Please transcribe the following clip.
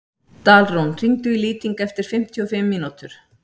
Dalrún, hringdu í Lýting eftir fimmtíu og fimm mínútur.